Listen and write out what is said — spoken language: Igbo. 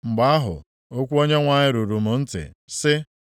Mgbe ahụ, okwu Onyenwe anyị ruru m ntị, sị,